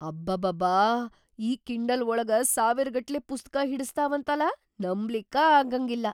ಅಬಾಬಾಬಾ ಈ ಕಿಂಡಲ್ ಒಳಗ ಸಾವಿರಗಟ್ಲೆ ಪುಸ್ತಕಾ ಹಿಡಸ್ತಾವಂತಲಾ.. ನಂಬ್ಲಿಕ್ಕ ಆಗಂಗಿಲ್ಲ.